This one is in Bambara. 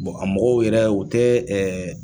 Bɔn a mɔgɔw yɛrɛ u tɛ ɛ